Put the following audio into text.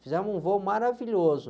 Fizemos um voo maravilhoso.